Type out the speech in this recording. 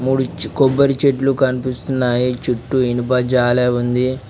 ముడిచి కొబ్బరి చెట్లు కనిపిస్తున్నాయి చుట్టూ ఇనుప జాలే ఉంది.